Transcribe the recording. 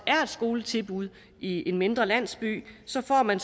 skoletilbud i en mindre landsby så får man